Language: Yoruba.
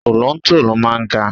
Tolontolo máa ń ga.